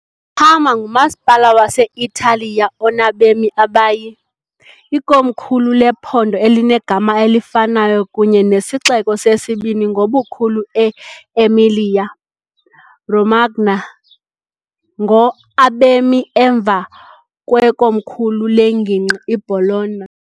Parma ngumasipala wase-Italiya onabemi abayi , ikomkhulu lephondo elinegama elifanayo kunye nesixeko sesibini ngobukhulu e- Emilia-Romagna ngo. abemi emva kwekomkhulu lengingqi iBologna.